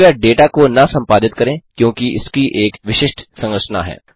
कृपया डेटा को न सम्पादित करें क्योंकि इसकी एक विशिष्ट संरचना है